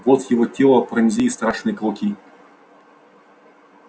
вот его тело пронзили страшные клыки